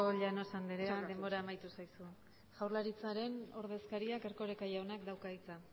llanos andrea denbora amaitu zaizu jaurlaritzaren ordezkariak erkoreka jaunak dauka hitza